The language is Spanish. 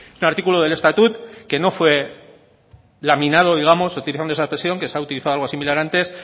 es un artículo del estatut que no fue laminado digamos utilizando esa expresión que se ha utilizado algo similar antes